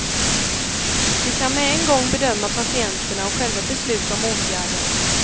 De kan med en gång bedöma patienterna och själva besluta om åtgärder.